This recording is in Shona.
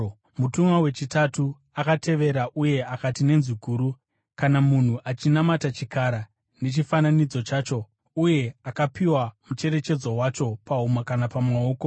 Mutumwa wechitatu akavatevera uye akati nenzwi guru: “Kana munhu achinamata chikara nechifananidzo chacho uye akapiwa mucherechedzo wacho pahuma kana pamaoko,